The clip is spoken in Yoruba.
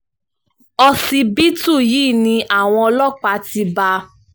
ọsibítù yìí ni àwọn ọlọ́pàá ti bá a